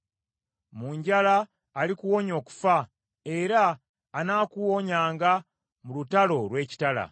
Mu njala alikuwonya okufa, era anaakuwonyanga mu lutalo olw’ekitala.